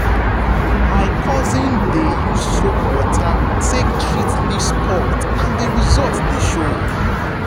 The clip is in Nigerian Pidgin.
my cousin dey use soap water take treat leaf spot and the result dey show.